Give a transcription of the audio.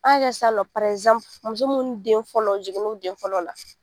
An k'a kɛ sisannɔ muso minnu den fɔlɔ jiginn'u den fɔlɔ la.